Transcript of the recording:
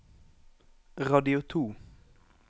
radio to